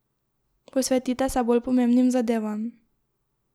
Posvetite se bolj pomembnim zadevam.